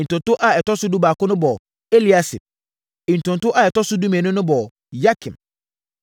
Ntonto a ɛtɔ so dubaako no bɔɔ Eliasib. Ntonto a ɛtɔ so dumienu no bɔɔ Yakim.